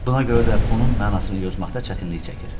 Buna görə də bunun mənasını yozmaqda çətinlik çəkir.